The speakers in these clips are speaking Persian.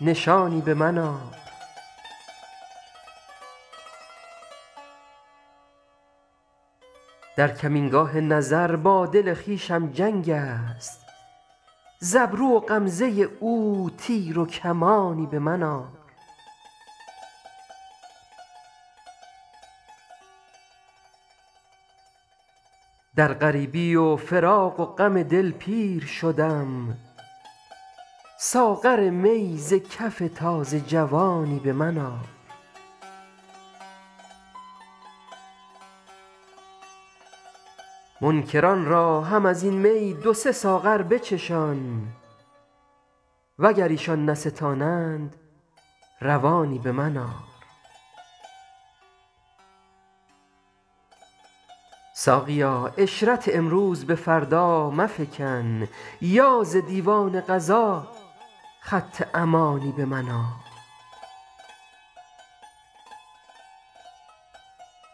نشانی به من آر در کمینگاه نظر با دل خویشم جنگ است ز ابرو و غمزه او تیر و کمانی به من آر در غریبی و فراق و غم دل پیر شدم ساغر می ز کف تازه جوانی به من آر منکران را هم از این می دو سه ساغر بچشان وگر ایشان نستانند روانی به من آر ساقیا عشرت امروز به فردا مفکن یا ز دیوان قضا خط امانی به من آر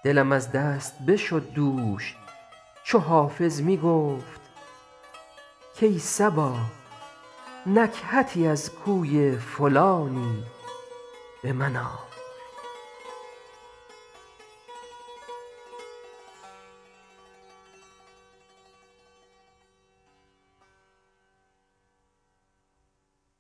دلم از دست بشد دوش چو حافظ می گفت کای صبا نکهتی از کوی فلانی به من آر